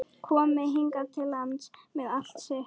Komi hingað til lands með allt sitt?